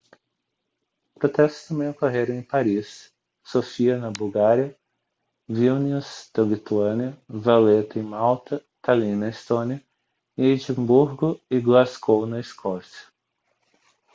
protestos também ocorreram em paris sofia na bulgária vilnius na lituânia valetta em malta tallinn na estônia e edimburgo e glasgow na escócia